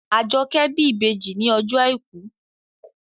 Àjọkẹ́ bí ìbejì ní ọjọ́ àìkú